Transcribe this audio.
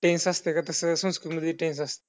tense असते का तसं संस्कृतमध्ये tense असत.